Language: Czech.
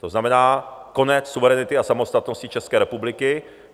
To znamená konec suverenity a samostatnosti České republiky.